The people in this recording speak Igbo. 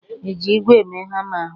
Eji ígwè mee hama ahụ?